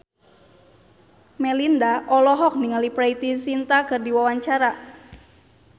Melinda olohok ningali Preity Zinta keur diwawancara